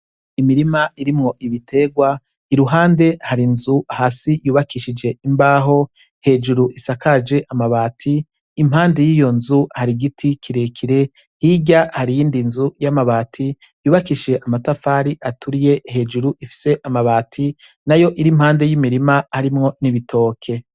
Imirima irimwo ibitegwa iruhande hari nzu hasi yubakishije imbaho, hejuru isakaje amabati, impande y'iyo nzu hari igiti kirekire hirya hari iyindi nzu y'amabati yubakishije amatafari aturiye hejuru ifise amabati na yo iri impande y'imirima arimwo n'ibitoke.